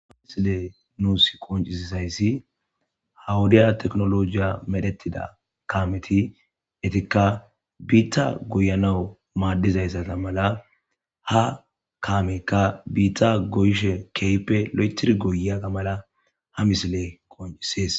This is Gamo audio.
ha misile nuus qoncisizayssi hawudiya teknolojiya medhettida kaameti etikka biitta goyanawu maaddizayssata mala ha kaamekka biitta goyshe keype lo7etir goya gamala ha misile qoncisees